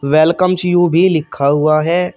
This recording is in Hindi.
वेलकम्स यू भी लिखा हुआ है।